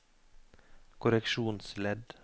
korreksjonsledd